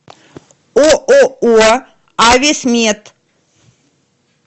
ооо ависмед